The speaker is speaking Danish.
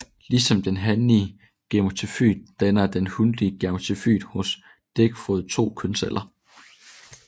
Ligesom den hanlige gametofyt danner den hunlige gametofyt hos dækfrøede to kønsceller